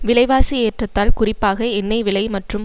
விலைவாசி ஏற்றத்தால் குறிப்பாக எண்ணெய் விலை மற்றும்